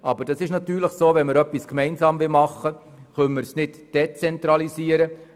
Aber es ist klar, wenn wir etwas gemeinsam realisieren wollen, können wir es nicht dezentralisieren.